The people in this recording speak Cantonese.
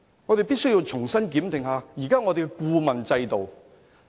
我們必須重新檢定現時的顧問制度。